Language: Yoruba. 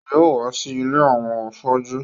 Yóò wá sí ilé àwọn afọ́jú